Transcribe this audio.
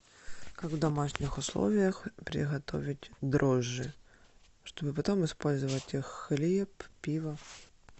как в домашних условиях приготовить дрожжи чтоб потом использовать их в хлеб пиво